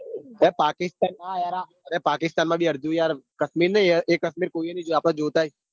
ભાઈ પાકિસ્તાન વાળા. અરે પાકિસ્તાન માં બી યાર કાશમીર નઈ એ કાશ્મીર કોઈએ નઈ જોયું આપદ જોતા આઇએ.